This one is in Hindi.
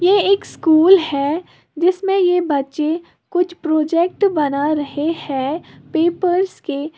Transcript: ये एक स्कूल है जिसमें ये बच्चे कुछ प्रोजेक्ट बना रहे हैं पेपर्स के।